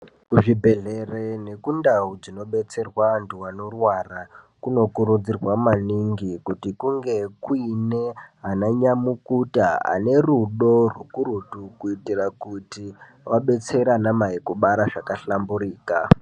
Muzvibhedhlere nekundau dzinobetserwe antu anorwara, kunokurudzirwa maningi kuti kunge kuine ananyamukuta ane rudo rwukurutu ,kuitira kuti vabetsere anamai kubara zvakahlamburika.